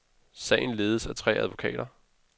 Sagen ledes af tre advokater.